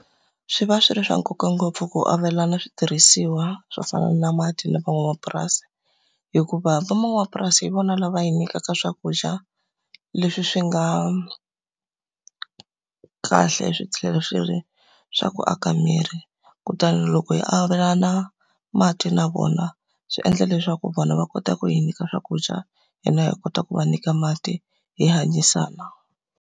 Swi va swi ri swa nkoka ngopfu ku avelana switirhisiwa swo fana na mati na van'wamapurasi. Hikuva van'wamapurasi hi vona lava hi nyikaka swakudya leswi swi nga kahle swi tlhela swi ri swa ku aka miri. Kutani loko hi avelana mati na vona, swi endla leswaku vona va kota ku hi nyika swakudya, hina hi kota ku va nyika mati, hi hanyisana.